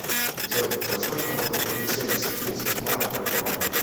джой за сколько можно купить семьдесят финских марок в альфа банке